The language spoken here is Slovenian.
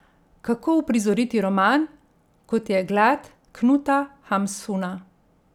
Kako uprizoriti roman, kot je Glad Knuta Hamsuna?